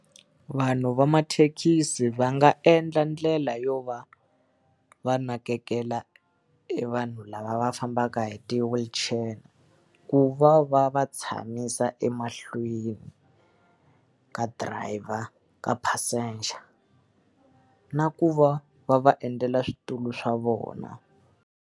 vanhu va mathekisi va nga endla ndlela yo va va nakekela vanhu lava va fambaka hi ti-wheelchair, ku va va va va tshamisa emahlweni ka driver, ka passenger. Na ku va va va endlela switulu swa vona.